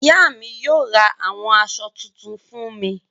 Ìyá mi yóò ra àwọn aṣọ tuntun fún mi.